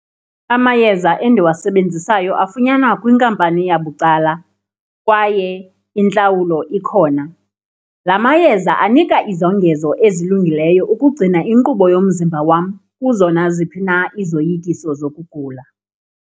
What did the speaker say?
Amayeza endiwasebenzisayo afunyanwa kwinkampani yabucala kwaye intlawulo ikhona. La mayeza anika izongezo ezilungileyo ukugcina inkqubo yomzimba wam kuzo naziphi na izoyikiso zokugula.